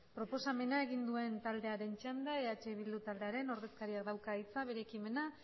proposamen egin duen taldearen txanda eh bildu taldearen ordezkariak dauka hitza bere ekimenak